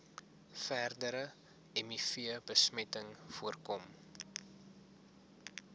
verdere mivbesmetting voorkom